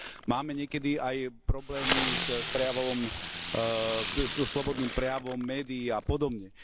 Máme niekedy aj problémy s prejavom, slobodným prejavom médií a podobne.